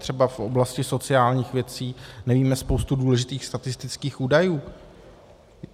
Třeba v oblasti sociálních věcí nevíme spoustu důležitých statistických údajů.